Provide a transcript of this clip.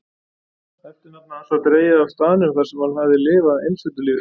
Eftirnafn hans var dregið af staðnum þarsem hann hafði lifað einsetulífi.